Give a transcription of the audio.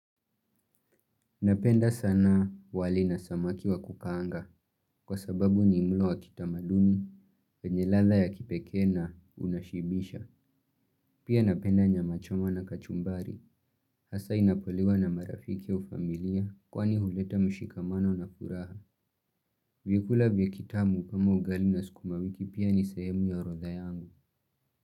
Napenda sana wali na samaki wa kukaanga kwa sababu ni mlo wa kitamaduni, wenye ladha ya kipeke na unashibisha. Pia napenda nyama choma na kachumbari. Hasa inapoliwa na marafiki au familia kwani huleta mshikamano na furaha. Vyakula vya kitambo kama ugali na sukma wiki pia ni sehemu ya orodha yangu.